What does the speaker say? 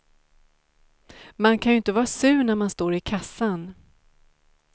Man kan ju inte vara sur när man står i kassan.